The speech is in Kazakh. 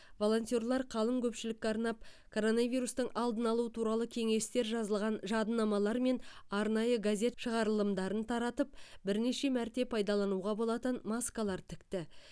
волонтерлар қалың көпшілікке арнап коронавирустың алдын алу туралы кеңестер жазылған жадынамалар мен арнайы газет шығарылымдарын таратып бірнеше мәрте пайдалануға болатын маскалар тікті